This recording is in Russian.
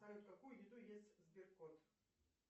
салют какую еду есть сберкот